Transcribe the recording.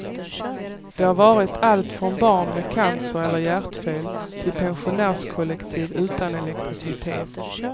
Det har varit allt från barn med cancer eller hjärtfel till pensionärskollektiv utan elektricitet.